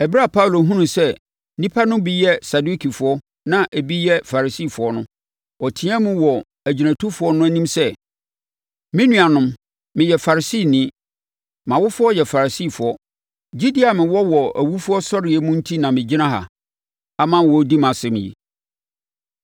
Ɛberɛ a Paulo hunuu sɛ nnipa no bi yɛ Sadukifoɔ na ebi yɛ Farisifoɔ no, ɔteaam wɔ agyinatufoɔ no anim sɛ, “Me nuanom, meyɛ Farisini. Mʼawofoɔ yɛ Farisifoɔ. Gyidie a mewɔ wɔ awufosɔreɛ mu no enti na megyina ha ama wɔredi mʼasɛm yi.”